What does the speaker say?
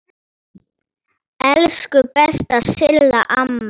Elsku besta Silla amma.